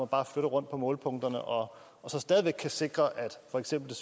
bare flytter rundt på målepunkter og så stadig væk kan sikre for eksempel